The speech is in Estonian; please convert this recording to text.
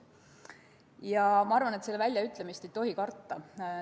Ja ma arvan, et selle väljaütlemist ei tohi karta.